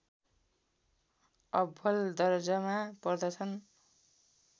अब्बल दर्जामा पर्दछन्